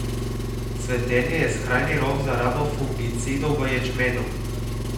Cvetenje je skrajni rok za rabo fungicidov v ječmenu.